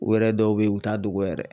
U yɛrɛ dɔw bɛ yen u t'a dogo yɛrɛ